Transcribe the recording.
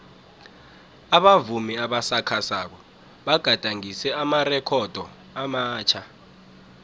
abavumi abasakhasako bagadangise amarekhodo amatjha